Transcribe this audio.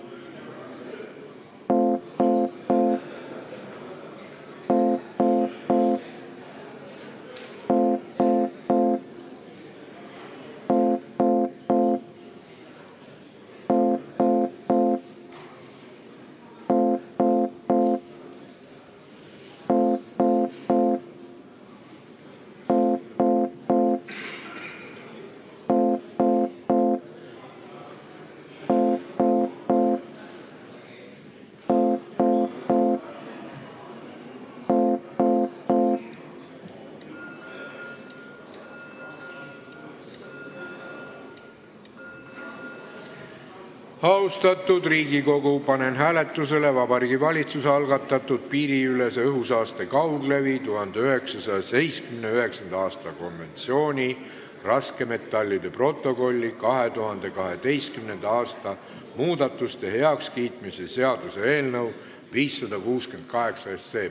Austatud Riigikogu, panen hääletusele Vabariigi Valitsuse algatatud piiriülese õhusaaste kauglevi 1979. aasta konventsiooni raskmetallide protokolli 2012. aasta muudatuste heakskiitmise seaduse eelnõu 568.